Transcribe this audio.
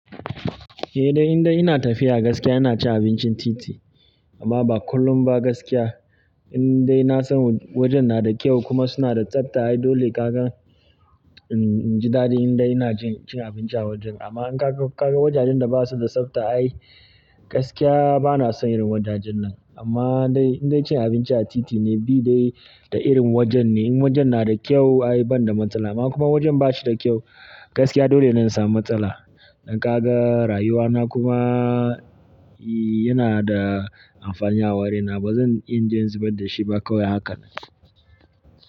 Eh dai, in dai ina tafiya gaskiya ina cin abincin titi. Amma ba kullum ba gaskiya. In dai na san wajen na da kyau kuma suna da tsafta ai dole kakan, em, ji dadi in dai ina jin cin abinci a wajen. Amma in ka ga, ka ga wajajen da ba su da tsafta ai gaskiya ba na son irin wajajen nan. Amma dai, in dai cin abinci a titi ne bi dai ta irin wajen ne. In wajen na da kyau ai ban da matsala. Amma kuma wajen ba shi da kyau gaskiya dole ne in sami matsala. Don ka ga rayuwa na kuma, ee, yana da amfani a wurina. Ba zan inje in zubar da shi ba kawai hakan.